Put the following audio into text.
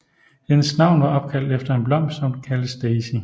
Hendes navn var opkaldt efter en blomst som kaldes Daisy